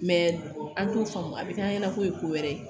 an t'o faamu a bi kɛ an ɲɛna ko ye ko wɛrɛ ye